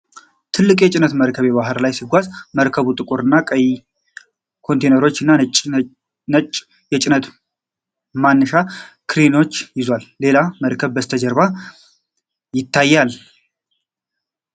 ትልቅ የጭነት መርከብ በባህር ላይ ሲጓዝ ። መርከቡ ጥቁር ቀይ ኮንቴይነሮችን እና ነጭ የጭነት ማንሻ ክሬኖችን ይዟል፤ ሌላ መርከብም ከበስተጀርባ ይታያል።